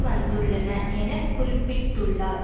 வந்துள்ளன என குறிப்பிட்டுள்ளார்